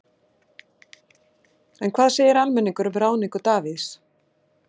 En hvað segir almenningur um ráðningu Davíðs?